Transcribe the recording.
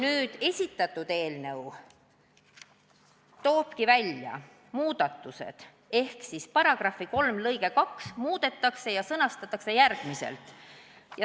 Meie esitatud eelnõu toob välja muudatused ehk § 3 lõiget 2 muudetakse järgmiselt.